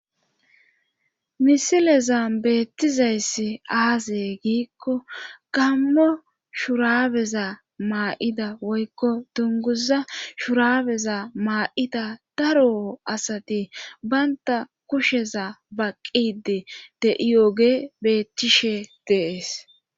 misilezan beettizayssi aaze giikko gammo shurabeza maa'ida woykko dunguza shurabeza maa'ida daro asati baynta kusheza baqqide de'iyooge beettishe de'es